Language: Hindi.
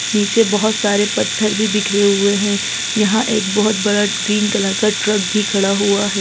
नीचे बहोत सारे पत्थर भी बिखरे हुए हैं यहाँ एक बहोत बड़ा ग्रीन कलर का ट्रक भी खड़ा हुआ है।